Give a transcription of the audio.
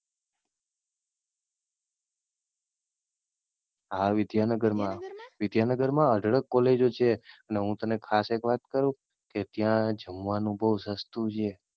હા વિદ્યાનગર મા, વિદ્યાનગર મા અઢળક કોલેજો છે ને હું તને ખાસ એક વાત કહું, કે ત્યાં જમવાનું બઉ સસ્તું છે.